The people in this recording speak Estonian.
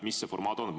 Mis see formaat on?